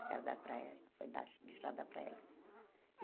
A casa da praia foi da deixada para elas.